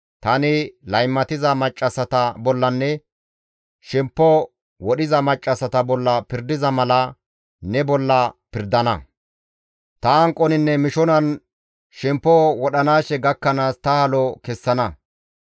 Tani laymatiza maccassata bollanne shemppo wodhiza maccassata bolla pirdiza mala ne bolla pirdana; ta hanqoninne mishonan shemppo wodhanaashe gakkanaas ta halo kessana.